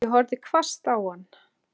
Ég horfði hvasst á hann.